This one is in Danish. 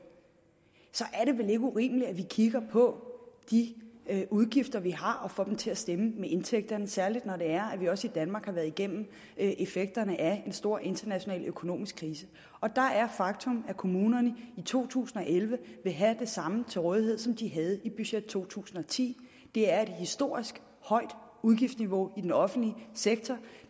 så er det vel ikke urimeligt at vi kigger på de udgifter vi har og får dem til at stemme med indtægterne særlig når det er at vi også i danmark har været igennem effekterne af en stor international økonomisk krise og der er faktum at kommunerne i to tusind og elleve vil have det samme til rådighed som de havde i budgettet for to tusind og ti det er et historisk højt udgiftsniveau i den offentlige sektor